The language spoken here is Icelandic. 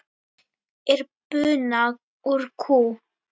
Hagl er buna úr kú.